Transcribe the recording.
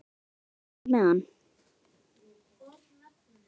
Breki: Ánægður með hann?